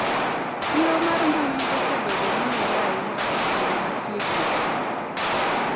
siro mar mbui osebedo mong'ere ahinya e kinde machiegnigi